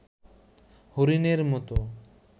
হরিণের মতো